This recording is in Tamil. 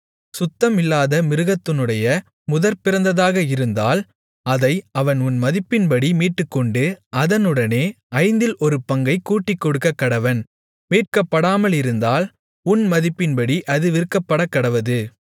சுத்தமல்லாத மிருகத்தினுடைய முதற்பிறந்ததாக இருந்தால் அதை அவன் உன் மதிப்பின்படி மீட்டுக்கொண்டு அதனுடனே ஐந்தில் ஒரு பங்கைக் கூட்டிக்கொடுக்கக்கடவன் மீட்கப்படாமலிருந்தால் உன் மதிப்பின்படி அது விற்கப்படக்கடவது